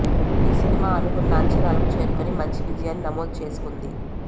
ఈ సినిమా అనుకున్న అంచనాలను చేరుకొని మంచి విజయాన్ని సమోదు చేసుకుంది